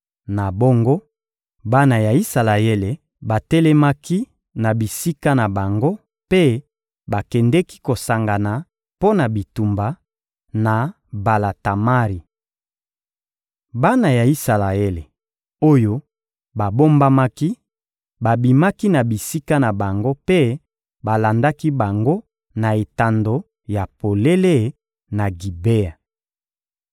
Na bongo, bana ya Isalaele batelemaki na bisika na bango mpe bakendeki kosangana mpo na bitumba, na Bala-Tamari. Bana ya Isalaele, oyo babombamaki, babimaki na bisika na bango mpe balandaki bango na etando ya polele, na Gibea.